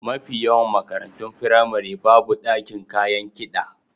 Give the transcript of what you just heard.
Mafi yawan makarantun firamari babu ɗakin kayan kiɗa.